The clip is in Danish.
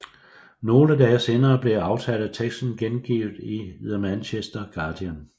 Nogle dage senere blev aftaleteksten gengivet i The Manchester Guardian